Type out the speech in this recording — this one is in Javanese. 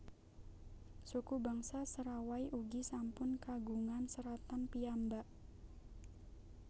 Suku bangsa Serawai ugi sampun kagungan seratan piyambak